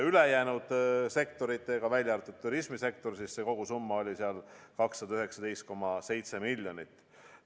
Kogusumma, välja arvatud turismisektor, oli 219,7 miljonit.